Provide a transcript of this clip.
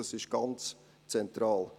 Das ist sehr zentral.